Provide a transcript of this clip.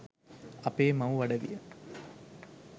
අපේ මවු අඩවිය